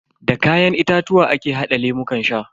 Da kayan itatuwa ake hada lemukan sha.